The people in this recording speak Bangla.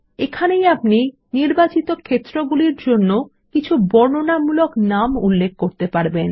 এখানেই আপনি নির্বাচিত ক্ষেত্রগুলির জন্য বর্ণনামূলক নাম উল্লেখ করতে পারবেন